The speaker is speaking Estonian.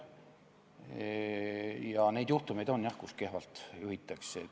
Neid juhtumeid on, jah, kui kehvalt juhitakse.